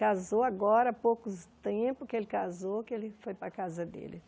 Casou agora, há pouco tempo que ele casou, que ele foi para a casa dele.